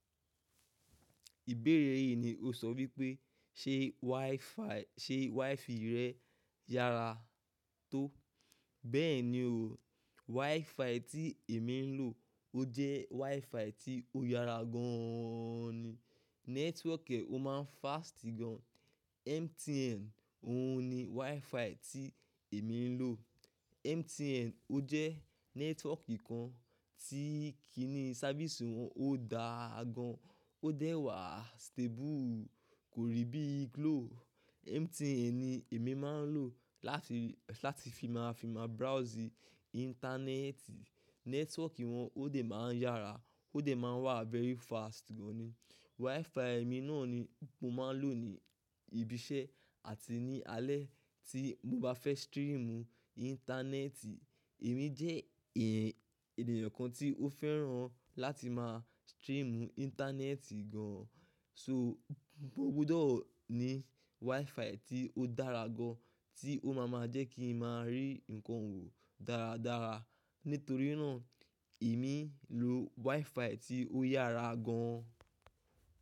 Ìbéèrè yìí ni o sọ wípé ṣe wifi rẹ yára tó. Bẹ́ẹ̀ni o, wifi tí èmi ń lò ó jẹ́ wifi tí ó yára gan an ni. Network ẹ ó máa ń fast gan. MTN òun ni wifi tí èmi ń lò. MTN ó jẹ́ network kan tí kí í ní sáfísì wọn ó dáa gan, ó dẹ̀ wá stable kò rí bí Glo. MTN ni èmi máa ń lò láti fi máa ń browse ìntanẹ́ẹ̀tì. Network wọn ó dẹ̀ máa ń yára, ó dẹ̀ máa ń wá very fast gan ni. Wifi mi náà ni mo máa ń lò ní ibi iṣẹ́ àti ní alẹ́ tí mo bá fẹ́ streamu ìntanẹ́ẹ̀tì. Èmi jẹ́ ènìyàn kan tí ó fẹ́ràn láti máa streamu ìntanẹ́ẹ̀tì gan. So mo gbọdọ̀ ní wifi tí ó dára gan tí ó máa ma jẹ́ kí ń máa rí nǹkan wò dáradára. Nítorí náà èmi ń lò wifi tí ó yára gan.